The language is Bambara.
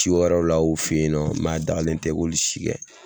Ci wɛrɛw la o fɛ yen nɔ mɛ a dagalen tɛ i k'olu si kɛ.